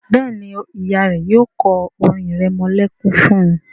Béèni Ìyá rẹ yóò ko orin iremolekun fún.